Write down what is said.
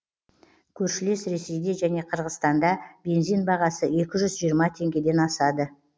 көршілес ресейде және қырғызстанда бензин бағасы екі жүз жиырма теңгеден асады